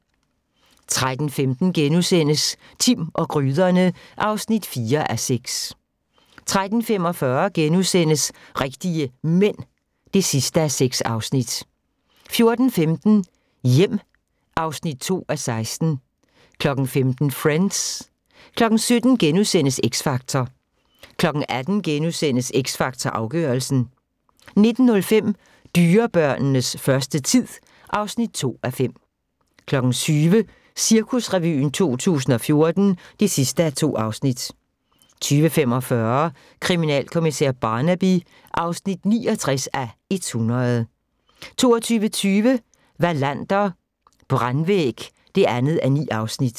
13:15: Timm og gryderne (4:6)* 13:45: Rigtige Mænd (6:6)* 14:15: Hjem (2:16) 15:00: Friends 17:00: X Factor * 18:00: X Factor Afgørelsen * 19:05: Dyrebørnenes første tid (2:5) 20:00: Cirkusrevyen 2014 (2:2) 20:45: Kriminalkommissær Barnaby (69:100) 22:20: Wallander: Brandvæg (2:9)